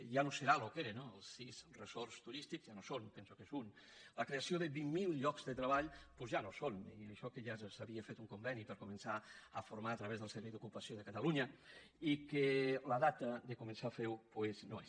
i ja no serà el que era no els sis resortsció de vint mil llocs de treball doncs ja no són i això que ja s’havia fet un conveni per a començar a formar a través del servei d’ocupació de catalunya i que la data de començar a fer·ho doncs no és